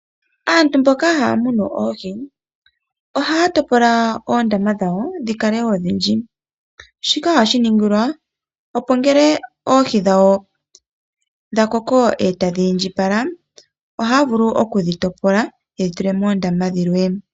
Aantu mboka haya munu oohi ohaya topola oondama dhawo dhikale odhindji, shika ohashi ningilwa opo ngele oohi dhawo dhakoko e tadhi indjipala ohaya vulu okudhitopola yedhi tule moondama dhilwe.